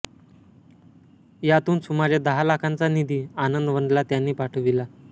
यातून सुमारे दहा लाखांचा निधी आनंदवनला त्यांनी पाठविला